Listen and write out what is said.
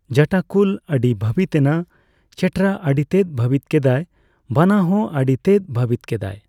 ᱡᱟᱴᱟ ᱠᱩᱞ ᱟᱰᱤᱭ ᱵᱷᱟᱵᱤᱛ ᱮᱱᱟ ᱾ᱪᱮᱴᱨᱟ ᱟᱰᱤᱛᱮᱫ ᱵᱷᱟᱛᱤᱛ ᱠᱮᱜ ᱟᱭ ᱾ᱵᱟᱱᱟ ᱦᱚᱸ ᱟᱰᱤᱛᱮᱫ ᱵᱷᱟᱛᱤᱛ ᱠᱮᱜ ᱟᱭ ᱾